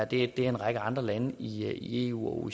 det er en række andre lande i eu